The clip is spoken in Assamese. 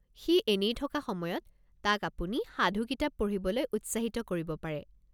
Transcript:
সি এনেই থকা সময়ত তাক আপুনি সাধু কিতাপ পঢ়িবলৈ উৎসাহিত কৰিব পাৰে।